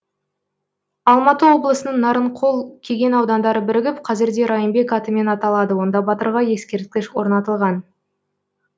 алматы облысының нарынқол кеген аудандары бірігіп қазірде райымбек атымен аталады онда батырға ескерткіш орнатылған